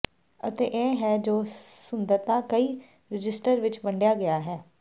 ਅਤੇ ਇਹ ਹੈ ਜੋ ਸੁੰਦਰਤਾ ਕਈ ਰਜਿਸਟਰ ਵਿੱਚ ਵੰਡਿਆ ਗਿਆ ਹੈ ਹੈ